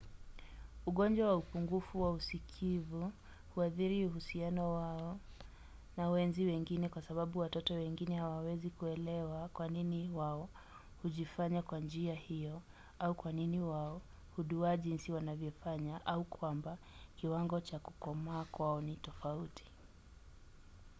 ugonjwa wa upungufu wa usikivu huathiri uhusiano wao na wenzi wengine kwa sababu watoto wengine hawawezi kuelewa kwa nini wao hujifanya kwa njia hiyo au kwa nini wao huduwaa jinsi wanavyofanya au kwamba kiwango cha kukomaa kwao ni tofauti